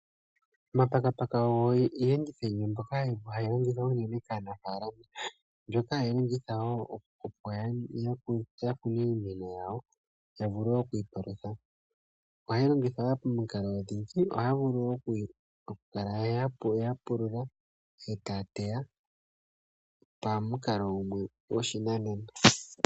Omapakapaka ogo Iiyenditho yimwe mbyoma hayi longithwa unene kaanafaalama mbyoka hayi longitha miimeno yawo yavule okwiipalutha ohayi longithwa woo pomikalo odhindji ohaya vulu okukala ya pulula etaya teya pamukalo gumwe gwoshinanena .